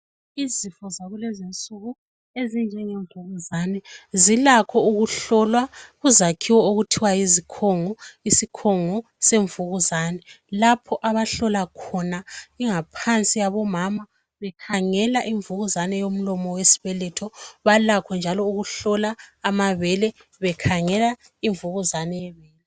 Izifo zakulezinsuku ezinjenge mvubuzane zilakho ukuhlolwa kuzakhiwo okuthiwa yizikhungu, isikhungu semvubuzane lapho abahlola khona ingaphansi yabomama bekhangela imvubuzane yomlomo wesibeletho, balakho njalo ukuhlola amabele bekhangela imvubuzane yebele.